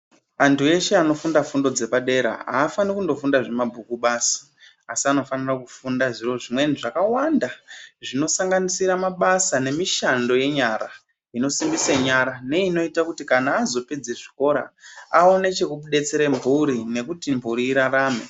Antu eshe anofunda fundo dzepadera, aafani kundofunda zvemabhuku basi, asi anofanira kufunda zvimweni zvifundo zvakawanda, zvinosanganisira mabasa nemishando yenyara, inosimbise nyara, neinoita kuti kana azopedza zvikora aone chekudetsera mphuri nekuti mphuri irarame.